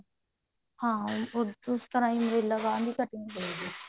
ਹਾਂ ਹਾਂ ਉਸ ਤਰਾਂ ਹੀ umbrella ਬਾਂਹ ਦੀ cutting ਹੋਵੇਗੀ